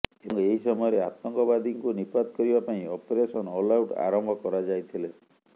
ଏବଂ ଏହି ସମୟରେ ଆତଙ୍କବାଦୀଙ୍କୁ ନିପାତ କରିବା ପାଇଁ ଅପରେସନ ଅଲଆଉଟ୍ ଆରମ୍ଭ କରାଯାଇଥିଲେ